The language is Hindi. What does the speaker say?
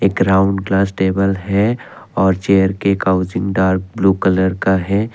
एक ग्राउंड क्लास टेबल है और चेयर काउंसलिंग दर ब्लू कलर का है।